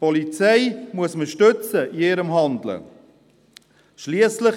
Die Polizei muss in ihrem Handeln gestützt werden.